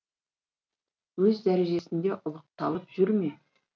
өз дәрежесінде ұлықталып жүр ме